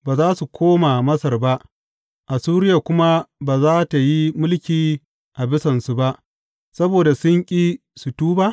Ba za su koma Masar ba Assuriya kuma ba za tă yi mulki a bisansu ba saboda sun ƙi su tuba ba?